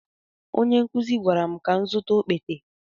Onye nkụzi gwara m ka m zụta okpete.